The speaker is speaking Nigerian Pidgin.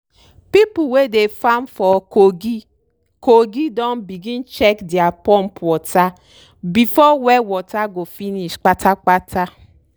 people wey dey farm for kogi kogi don begin check dere pump water before well water go finish pata pata.